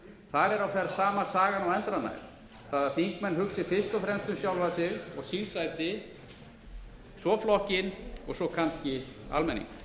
á ferð sama sagan og endranær það er að þingmenn hugsi fyrst fremst um sjálfa sig og sín sæti svo flokkinn og svo kannski almenning